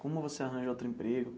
Como você arranjou outro emprego?